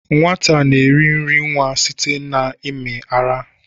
Nwata na-eri nri nwa site n'ime ara.